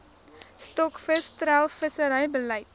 stokvis treilvissery beleid